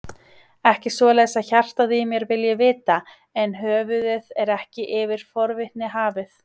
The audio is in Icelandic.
Ekki svoleiðis að hjartað í mér vilji vita, en höfuðið er ekki yfir forvitni hafið.